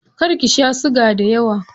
Kar ki sha siga dayawa.